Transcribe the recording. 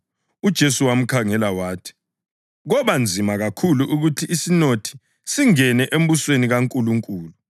UJesu wamkhangela wathi, “Koba nzima kakhulu ukuthi isinothi singene embusweni kaNkulunkulu!